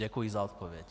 Děkuji za odpověď.